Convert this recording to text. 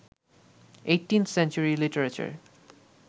18th century literature